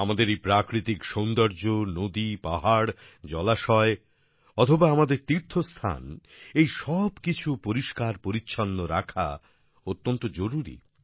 আমাদের এই প্রাকৃতিক সৌন্দর্য নদী পাহাড় জলাশয় অথবা আমাদের তীর্থস্থান এই সব কিছু পরিষ্কারপরিচ্ছন্ন রাখা অত্যন্ত জরুরী